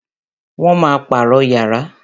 Wọn máa pàrọ̀ yàrá